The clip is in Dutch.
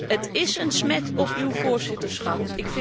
Het is een smet op uw voorzitterschap.